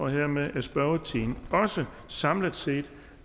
hermed er spørgetiden også samlet set